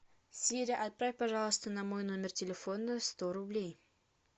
сири отправь пожалуйста на мой номер телефона сто рублей